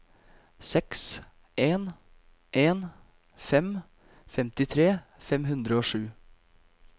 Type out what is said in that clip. seks en en fem femtitre fem hundre og sju